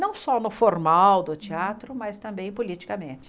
Não só no formal do teatro, mas também politicamente.